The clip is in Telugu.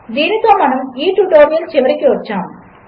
దీనితోమనముఈట్యుటోరియల్చివరికివచ్చాము